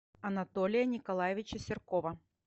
анатолия николаевича серкова